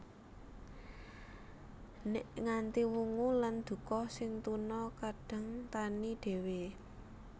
Nèk nganti wungu lan duka sing tuna kadang tani dhéwé